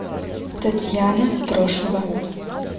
татьяна трошева